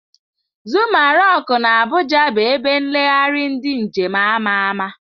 Zuma rock na abuja bu ebe nlegharị ndi njem ama ama.